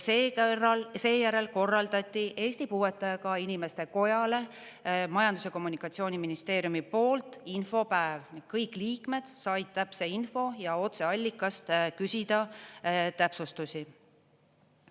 Ja seejärel korraldati Eesti Puuetega Inimeste Kojale Majandus- ja Kommunikatsiooniministeeriumi poolt infopäev ning kõik liikmed said täpse info ja otseallikast küsida täpsustusi.